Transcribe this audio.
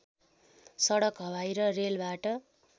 सडक हवाई र रेलबाट